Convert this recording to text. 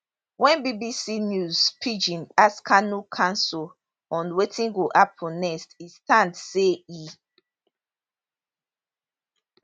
wen bbc news pidgin ask kanu counsel on wetin go happun next e stand say e